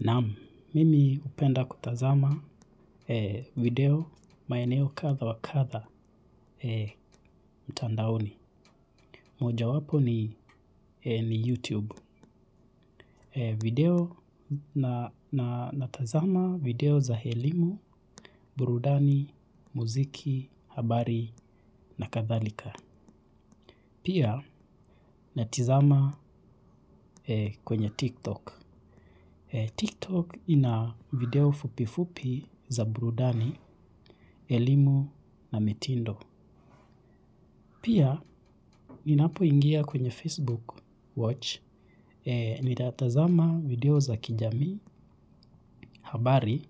Naam, mimi hupenda kutazama video maeneo katha wa katha mtandaoni. Moja wapo ni YouTube. Video na natazama video za elimu, burudani, muziki, habari na kathalika. Pia natizama kwenye TikTok. TikTok ina video fupi fupi za burudani, elimu na mitindo. Pia, ninapo ingia kwenye Facebook Watch, ninatazama video za kijamii, habari